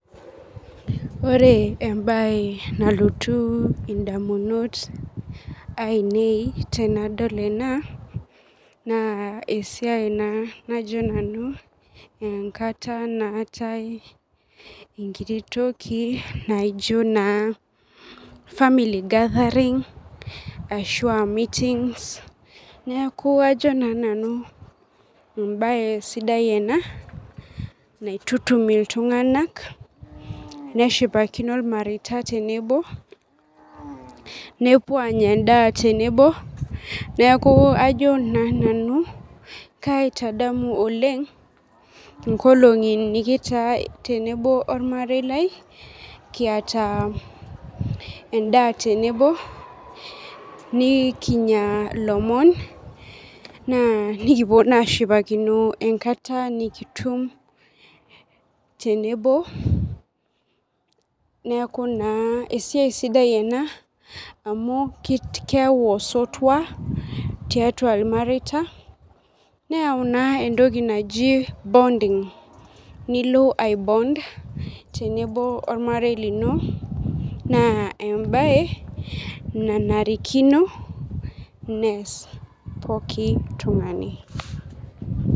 Orebenbae nalotu ndamunot ainei tanadol ena na esiai na najoenkata naatae enkiti toki naijo family gathering ashu a meetings neaku kajo na sinanu embae sidai ena naitutum ltunganak neshipakino irmareita tenebo nepuo anya endaa tenebo neaku ajo na nanu kaitadamu olrng nkolongi nikitaa tenebo ormarei lai kiata endaa tenebo nikinya lomon nikipuo na asipakino enkata nikitum tenebo neaku na esiaia sidai ena amu keyau osotua tiatua irmareita neyau na entoki naji bonding nilo ai bond tenebo ormarei lino na embae nanarikino neas poki tungani.